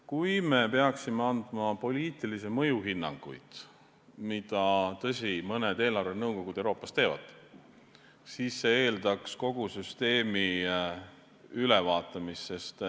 Kui me peaksime andma poliitilise mõju hinnanguid, mida, tõsi, mõned eelarvenõukogud Euroopas teevad, siis see eeldaks kogu süsteemi ülevaatamist.